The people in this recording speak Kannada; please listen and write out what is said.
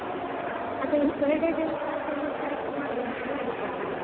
ಅದೇ birthday ದೆಂತಾಂತ ಒಂದು correct ಮಾಡುವಾಂತ ನಾಡಿದ್ದೆ ಅಲ್ಲ.